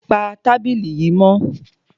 Pa tábìlì yìí mọ́!